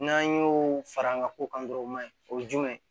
N'an y'o fara an ka ko kan dɔrɔn o man ɲi o ye jumɛn ye